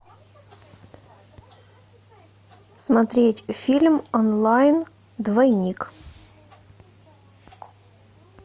смотреть фильм онлайн двойник